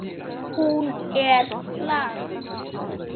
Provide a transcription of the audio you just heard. Hún er flagð.